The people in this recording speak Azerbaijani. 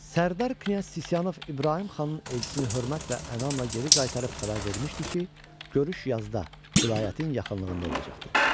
Sərdar Knyaz Sisyanov İbrahim Xanın Elçisini hörmət və ənamla geri qaytarıb xəbər vermişdi ki, görüş yazda vilayətin yaxınlığında olacaqdı.